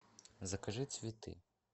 закажи цветы